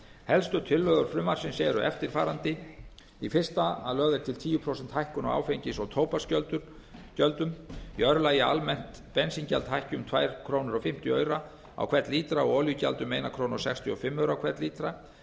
helstu tillögur frumvarpsins eru eftirfarandi í fyrsta lagi er lögð til tíu prósenta hækkun á áfengis og tóbaksgjöldum í öðru lagi er lagt til að almennt bensíngjald hækki um tvær og fimmtíu krónur á hvern lítra og olíugjald um einn komma sextíu og fimm krónur á hvern lítra